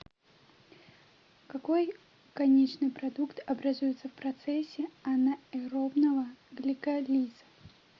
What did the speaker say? какой конечный продукт образуется в процессе анаэробного гликолиза